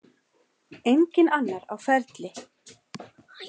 Enginn annar á ferli.